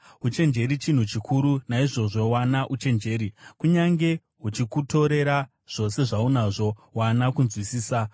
Uchenjeri chinhu chikuru; naizvozvo wana uchenjeri. Kunyange huchikutorera zvose zvaunazvo, wana kunzwisisa.